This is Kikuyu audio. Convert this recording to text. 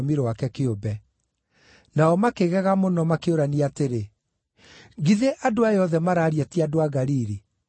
Nao makĩgega mũno, makĩũrania atĩrĩ, “Githĩ andũ aya othe maraaria ti andũ a Galili?